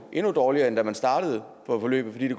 endnu dårligere end da man startede på forløbet fordi det